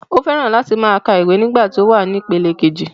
O fẹ́ran láti máa ka ìwé nígbà tí ó wà ní ipele kejì